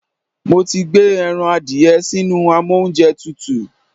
Mo ti gbé ẹran adìẹ sínú amóúnjẹtutù.